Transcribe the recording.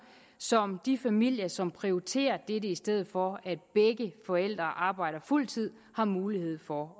som de familier som prioriterer dette i stedet for at begge forældre arbejder fuld tid har mulighed for